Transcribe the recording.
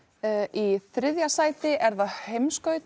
í þriðja sæti er það